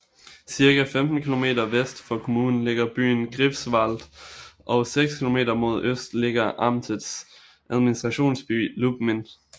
Cirka 15 kilometer vest for kommunen ligger byen Greifswald og seks kilometer mod øst ligger amtets administrationsby Lubmin